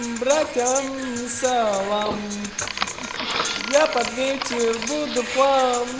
братан салам я под вечер буду